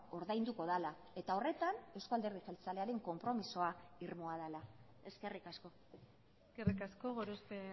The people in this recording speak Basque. ordainduko dela eta horretan eusko alderdi jeltzalearen konpromisoa irmoa dela eskerrik asko eskerrik asko gorospe